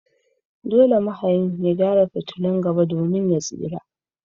Dole mahayin ya gyara fitulun gaba domin ya tsira.